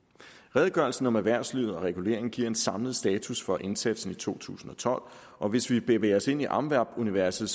redegørelsen om erhvervslivet og reguleringen giver en samlet status for indsatsen i to tusind og tolv og hvis vi bevæger os ind i amvab universet